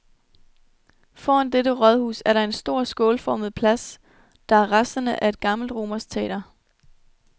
Foran dette rådhus er der en stor skålformet plads, der er resterne af et gammelt romersk teater.